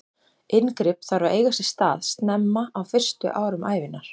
Inngrip þarf að eiga sér stað snemma, á fyrstu árum ævinnar.